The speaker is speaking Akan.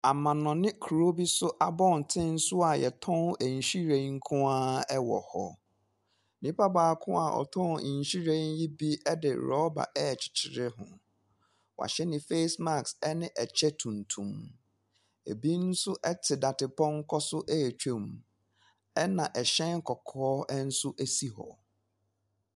Amanɔne kuro bi so abɔntene so a wɔtɔn nhwiren nko ara wɔ hɔ. Nipa baako a ɔtɔn nhwiren yi bi de rɔba rekyekyere ho wahyɛ ne face mask ne ɛkya tuntum. Ɛbi nso te dadepɔnkɔ so retwam, ɛna hyɛn kɔkɔɔ nso si hɔ.